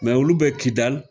Mɛ olu bɛ Kidali